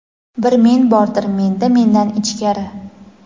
bir men bordir menda mendan ichkari.